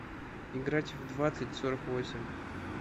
играть в двадцать сорок восемь